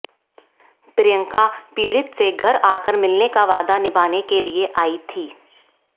प्रियंका पीड़ित से घर आकर मिलने का वादा निभाने के लिए आई थी